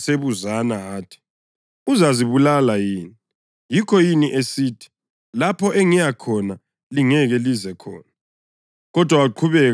AmaJuda asebuzana athi, “Uzazibulala yini? Yikho yini esithi, ‘Lapho engiyakhona lingeke lize khona’?”